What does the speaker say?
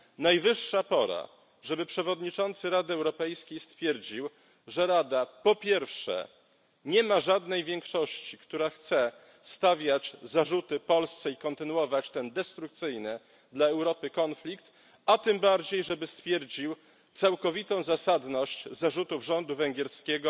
Najwyższa pora, żeby przewodniczący Rady Europejskiej stwierdził, że Rada, po pierwsze, nie ma żadnej większości, która chce stawiać zarzuty Polsce i kontynuować ten destrukcyjny dla Europy konflikt, a tym bardziej, żeby stwierdził całkowitą zasadność zarzutów rządu węgierskiego